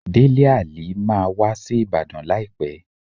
Délé Àlí máa wá sí Ìbàdàn láìpẹ́.